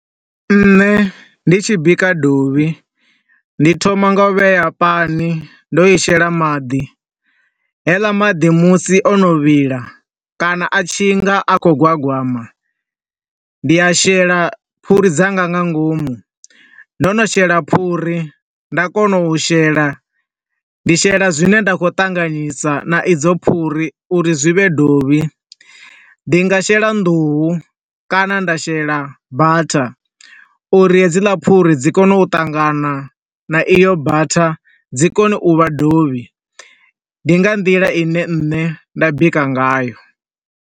Nṋe ndi tshi bika dovhi, ndi thoma nga u vhea pani, ndo i shela maḓi, haeḽa maḓi musi o no vhila kana a tshinga a khou gwagwama, ndi a shela phuri dzanga nga ngomu, ndo no shela phuri, nda kona u shela, ndi shela zwine nda khou ṱanganisa na idzo phuri uri zwi vhe dovhi. Ndi nga shela nḓuhu kana nda shela butter uri hedzila phuri dzi kone u ṱangana na i yo butter dzi kone u vha dovhi. Ndi nga nḓila ine nne nda bika nga yo.